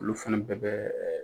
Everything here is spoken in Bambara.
Olu fana bɛɛ bɛ